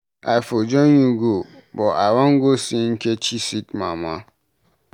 I for join you go but I wan go see Nkechi sick mama.